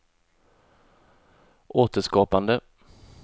återskapande